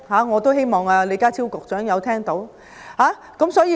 我希望李家超局長聽到我說的話。